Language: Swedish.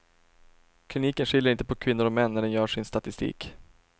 Kliniken skiljer inte på kvinnor och män när den gör sin statistik.